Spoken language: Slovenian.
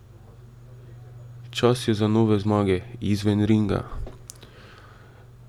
Čas je za nove zmage, izven ringa ...